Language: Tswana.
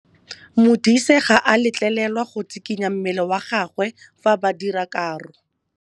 Modise ga a letlelelwa go tshikinya mmele wa gagwe fa ba dira karô.